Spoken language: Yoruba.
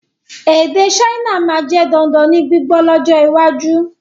Èdè Saina máa jẹ dandan ní gbígbọ́ lọ́jọ́ iwájú